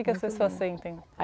O que que as pessoas sentem?